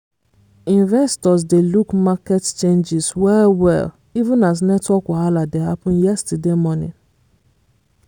investors dey look market changes well-well even as network wahala dey happen yesterday morning.